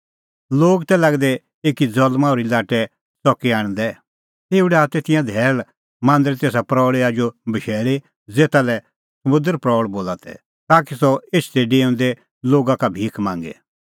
लोग तै लागै दै एकी ज़ल्मां ओर्ही लाट्टै च़की आणदै तेऊ डाहा तै तिंयां धैल़ मांदरे तेसा प्रऊल़ी आजू बशैल़ी ज़ेता लै सुंदर प्रऊल़ बोला तै ताकि सह एछदै डेऊंदै लोगा का भिख मांगे